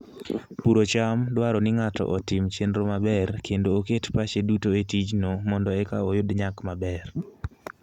Puro cham dwaro ni ng'ato otim chenro maber kendo oket pache duto e tijno mondo eka oyud nyak maber.